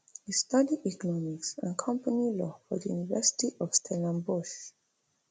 e study economics and company law for di university of stellenbosch